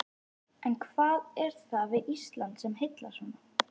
En hvað er það við Ísland sem heillar svona?